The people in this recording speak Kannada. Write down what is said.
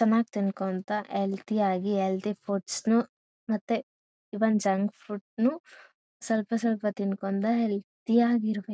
ಚೆನ್ನಾಗ್ ತಿಂಕೊಳ್ತಾ ಹೆಲ್ತಿ ಯಾಗಿ ಹೆಲ್ತಿ ಫುಡ್ಸ್ ನು ಮತ್ತೆ ಹೆಲ್ತಿ ಈವನ್ ಜಂಕ್ ಫುಡ್ ನು ಸ್ವಲ್ಪ ಸ್ವಲ್ಪ ತಿನ್ಕೊಂಡು ಹೆಲ್ತಿ ಯಾಗಿರ್ಬೇಕು.